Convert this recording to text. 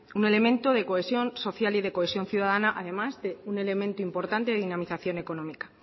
un elemento de cohesión social y de cohesión ciudadana además de un elemento importante de dinamización económica